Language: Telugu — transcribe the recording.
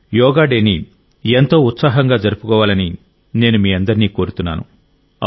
యోగా డేని ఎంతో ఉత్సాహంగా జరుపుకోవాలని నేను మీ అందరినీ కోరుతున్నాను